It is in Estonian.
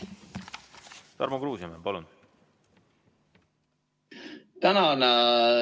Tarmo Kruusimäe, palun!